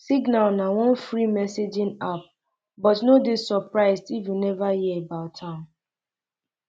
um signal na one free messaging app but no dey surprised if you never hear about am